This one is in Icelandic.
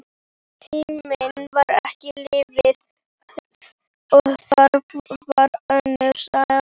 Tíminn var ekki lífið, og það var önnur saga.